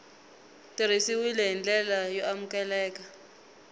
tirhisiwile hi ndlela y amukeleka